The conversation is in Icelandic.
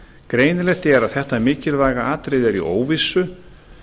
greinilegt er að þetta mikilvæga atriði er í óvissu